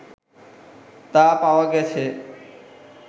তা পাওয়া গেছে